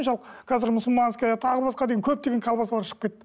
қазір мусульманская тағы басқа деген көп деген колбасалар шығып кетті